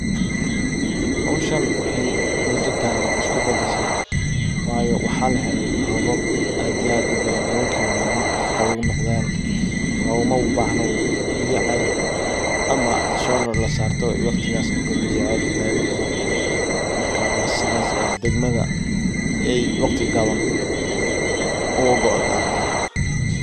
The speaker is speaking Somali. howshan wexey mudo badan iskubadashe hawada aya isbadashe marka robab badan Aya lahele o qawoow noqden oo lomabahno celaal mark sidas aya ogagoede degmad.